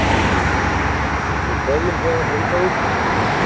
Við kveðjum héðan frá Húsavík.